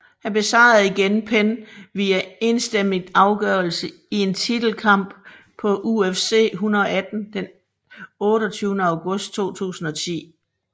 Han besejrede igen Penn via enstemmig afgørelse i en titelkamp på UFC 118 den 28 august 2010